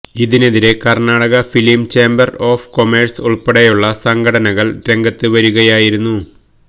ഇതിനെതിരെ Karnataka film chamber of commerce ഉള്പ്പടേയുള്ള സംഘടനകള് രംഗത്ത് വരികയായിരുന്നു